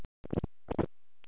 Oft vinn ég langt fram á kvöld.